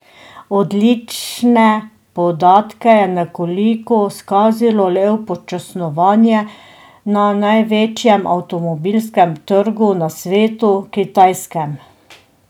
Odlične podatke je nekoliko skazilo le upočasnjevanje na največjem avtomobilskem trgu na svetu, kitajskem.